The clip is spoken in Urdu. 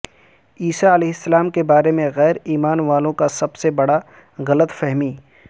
عیسی علیہ السلام کے بارے میں غیر ایمان والوں کا سب سے بڑا غلط فہمی